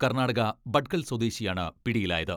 കർണാടക ഭട്കൽ സ്വദേശിയാണ് പിടിയിലായത്.